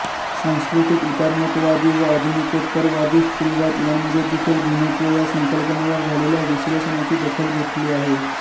सांस्कृतिक उदारमतवादी व आधुनिकोत्तरवादी स्त्रीवाद यांमध्ये देखील भिन्नत्व या संकल्पनेवर झालेल्या विश्लेषणाची दखल घेतली आहे